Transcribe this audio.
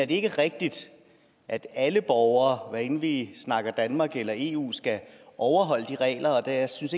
det ikke rigtigt at alle borgere hvad enten vi snakker om danmark eller eu skal overholde de regler jeg synes